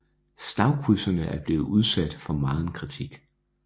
Slagkrydserne er blevet udsat for megen kritik